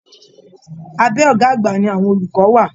Abẹ ọgá àgbà ní àwọn olùkọ wà.